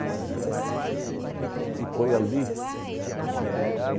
E... E foi ali que...